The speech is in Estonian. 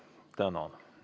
Tänan!